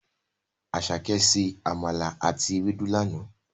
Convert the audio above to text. Àsàké se àmàlà àti ewédú lana.